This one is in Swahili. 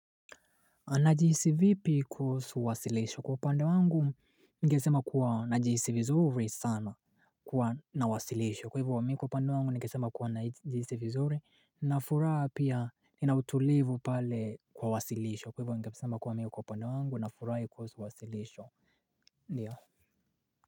Najihisi vipi kuhusu wasilisho? Kwa upande wangu ningesema kuwa najihisi vizuri sana kuwa na wasilisho kwa hivyo mimi kwa upande wangu ningesema kuwa najihisi vizuri nina furaha pia nina utulivu pale kwa wasilisho kwa hivyo ningesema kuwa mimi kwa upande wangu nafurahi kuhusu wasilisho ndiyo.